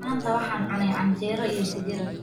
Maanta waxaan cunnay canjeero iyo digir.